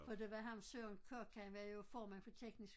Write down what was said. For der var ham Søren Kok han var jo formand for teknisk